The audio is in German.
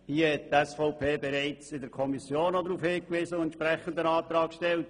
Auf dieses Problem hat die SVP bereits in der Kommission hingewiesen und einen entsprechenden Antrag gestellt.